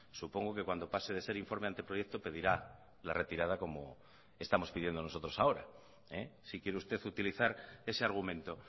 supongo que cuando pase de ser informe a anteproyecto pedirá la retirada como estamos pidiendo nosotros ahora si quiere usted utilizar ese argumento